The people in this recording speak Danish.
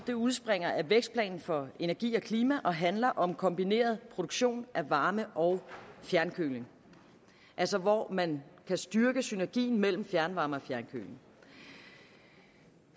det udspringer af vækstplan for energi og klima og handler om kombineret produktion af varme og fjernkøling altså hvor man kan styrke synergien mellem fjernvarme og fjernkøling